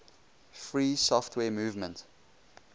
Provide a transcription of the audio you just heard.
free software movement